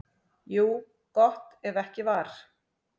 Jú, gott ef ekki var.